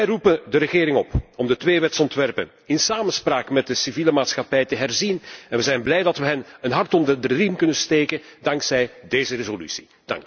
Wij roepen de regering op om de twee wetsontwerpen in samenspraak met de civiele maatschappij te herzien. We zijn blij dat we hen een hart onder de riem kunnen steken dankzij deze resolutie.